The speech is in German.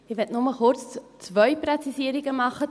Ich möchte kurz zwei Präzisierungen machen.